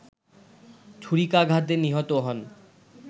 ছুরিকাঘাতে নিহত হন